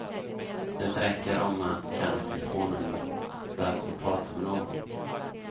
Det räcker om man kan ett telefonnummer, för att få prata med någon.